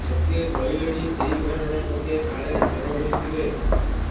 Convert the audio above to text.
ଲୋକେ କହିଲେଣି ସେହି ଘରର ଲୋକେ କାଳେ ଚୋର ହୋଇଥିବେ